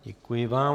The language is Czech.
Děkuji vám.